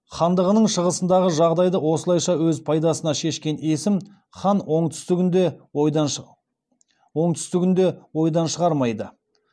хандығының шығысындағы жағдайды осылайша өз пайдасына шешкен есім хан оңтүстігін де ойдан шығармайды